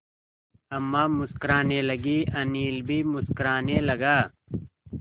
अम्मा मुस्कराने लगीं अनिल भी मुस्कराने लगा